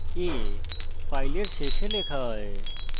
afile শেষে লেখা হয়